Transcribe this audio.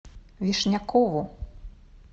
вишнякову